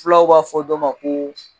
Fulaw b'a fɔ dɔ ma ko